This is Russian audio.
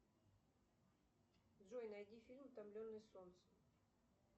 джой найди фильм утомленные солнцем